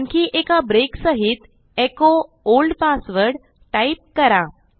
आणखी एका ब्रेक सहित एको ओल्ड पासवर्ड टाईप करा